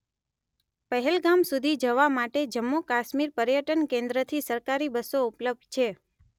પહેલગામ સુધી જવા માટે જમ્મૂ કાશ્મીર પર્યટન કેન્દ્રથી સરકારી બસો ઉપલબ્ધ છે